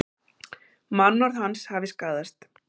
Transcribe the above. Mannorð hans hafi skaðast